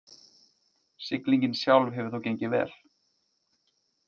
Siglingin sjálf hefur þó gengið vel